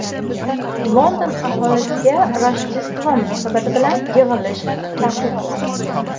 London aholisiga Rojdestvo munosabati bilan yig‘ilish taqiqlandi.